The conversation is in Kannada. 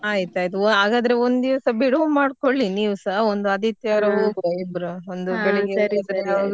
ಆಯ್ತ್ ಆಯ್ತ್ ಆಗದ್ರೆ ಒಂದು ದಿವಸ ಬಿಡುವು ಮಾಡ್ಕೊಳ್ಳಿ ನೀವ್ ಸಾ ಒಂದು ಆದಿತ್ಯವಾರ ಹೋಗುವ ಇಬ್ರು .